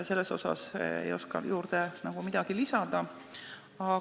Selle kohta ei oska ma nagu midagi juurde lisada.